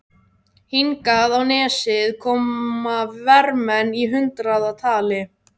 Hingað á nesið koma vermenn í hundraðatali.